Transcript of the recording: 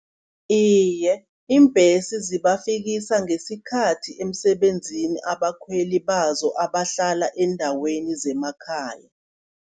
Iye, iimbhesi zibafikisa ngesikhathi emsebenzini abakhweli bazo abahlala eendaweni zemakhaya.